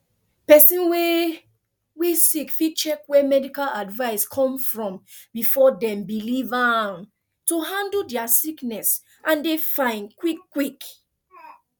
pesin wey wey sick fit check where medical advice come from before dem believe am to handle dia sickness and dey fine quick quick